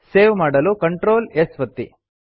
save ಮಾಡಲು Ctrl S ಒತ್ತಿ